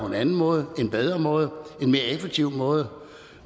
en anden måde en bedre måde en mere effektiv måde